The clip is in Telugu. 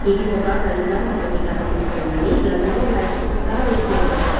ఇది ఒక గదిలా మనకి కనిపిస్తుంది గదిలో లైట్సు కూడా వేసి ఉన్నాయి.